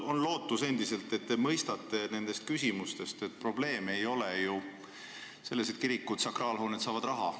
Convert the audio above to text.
Ma loodan endiselt, et te mõistate nendest küsimustest, et probleem ei ole ju selles, et kirikud, sakraalhooned saavad raha.